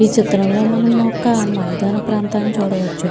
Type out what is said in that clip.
ఈ చిత్రం లో మనం ఒక మద్యన ప్రాంతం చూడవచ్చు.